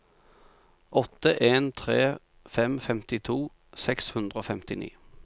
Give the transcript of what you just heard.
åtte en tre fem femtito seks hundre og femtini